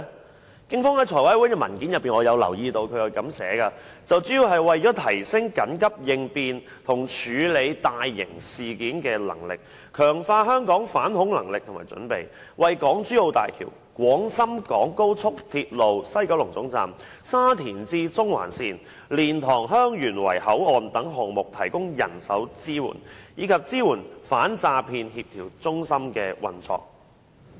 我從警方向立法會財務委員會提交的文件留意到，原因主要是為了提升緊急應變及處理大型事件的能力，強化香港的反恐能力和準備，為港珠澳大橋、廣深港高速鐵路西九龍總站、沙田至中環線、蓮塘/香園圍口岸等項目提供人手支援，以及支援反詐騙協調中心的運作。